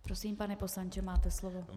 Prosím, pane poslanče, máte slovo.